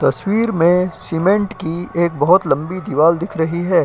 तस्वीर में सीमेंट की एक बहोत लंबी दीवार दिख रही है।